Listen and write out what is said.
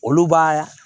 Olu b'a